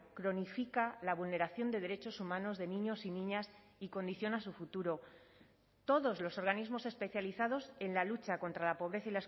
cronifica la vulneración de derechos humanos de niños y niñas y condiciona su futuro todos los organismos especializados en la lucha contra la pobreza